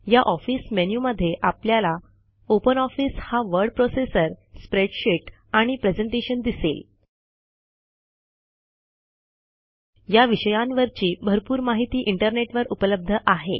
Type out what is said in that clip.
या office menu मध्ये आपल्याला ओपनऑफिस हा वर्ड प्रोसेसर स्प्रेडशीट आणि प्रेझेंटेशन दिसेल या विषयांवरची भरपूर माहिती इंटरनेटवर उपलब्ध आहे